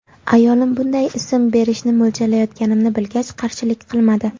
Ayolim bunday ism berishni mo‘ljallayotganimni bilgach, qarshilik qilmadi.